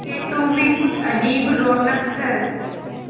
खेतों में कुछ अजीब रौनक है